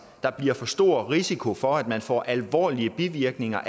der bliver for stor risiko for at man får alvorlige bivirkninger